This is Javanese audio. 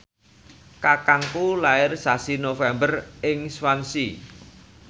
kakangku lair sasi November ing Swansea